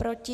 Proti?